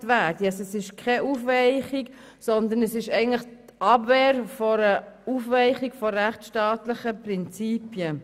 Es geht hier also nicht um eine Aufweichung, sondern um die Abwehr einer Aufweichung rechtsstaatlicher Prinzipien.